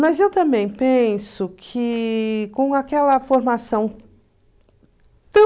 Mas eu também penso que com aquela formação